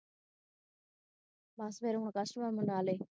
ਬਸ ਹੁਣ customer ਮਨਾ ਲੈ